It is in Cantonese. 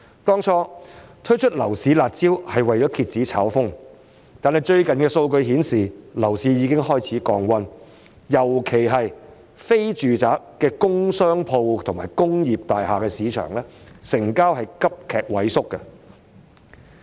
當初推出樓市"辣招"是為了遏止炒風，但最近的數據顯示，樓市已經開始降溫，尤其是非住宅的工商鋪和工業大廈的市場成交急劇萎縮。